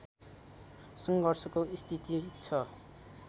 सङ्घर्षको स्थिति छ